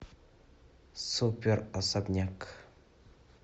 супер особняк